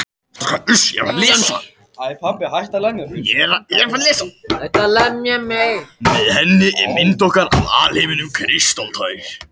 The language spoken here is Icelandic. Með henni er mynd okkar af alheiminum kristaltær.